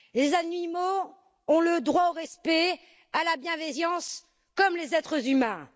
Les animaux ont le droit au respect, à la bienveillance, comme les êtres humains.